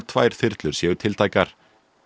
tvær þyrlur séu tiltækar